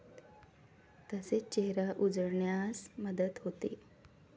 तसेच चेहरा उजळण्यास मदत होते.